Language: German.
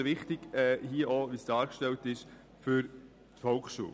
Besonders wichtig ist das für die Volksschule.